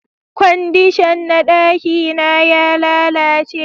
Kwandishan na daki na ya lalace